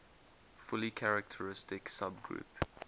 fully characteristic subgroup